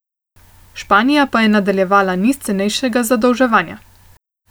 Španija pa je nadaljevala niz cenejšega zadolževanja.